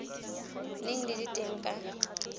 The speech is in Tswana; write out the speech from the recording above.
neng di le teng ka